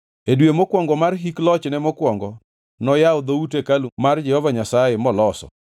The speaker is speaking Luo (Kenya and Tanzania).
E dwe mokwongo mar hik lochne mokwongo noyawo dhout hekalu mar Jehova Nyasaye moloso.